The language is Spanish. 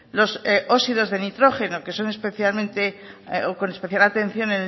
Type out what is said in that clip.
los óxidos de nitrógeno que son especialmente con especial atención